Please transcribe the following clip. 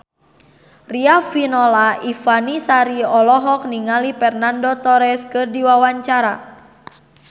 Riafinola Ifani Sari olohok ningali Fernando Torres keur diwawancara